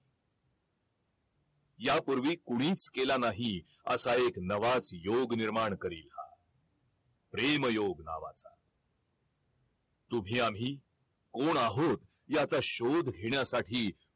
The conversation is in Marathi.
या पूर्वी कुणीच केला नाही असा एक नवाच योग निर्माण करील हा प्रेम योग नावाचा तुम्ही आम्ही कोण आहोत याचा शोध घेण्यासाठी